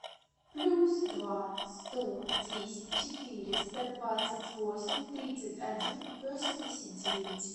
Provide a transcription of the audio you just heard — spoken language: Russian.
плюс два сто десять четыреста двадцать восемь тридцать один восемьдесят девять